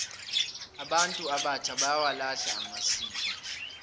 abantu abatjha bayawalahla amasiko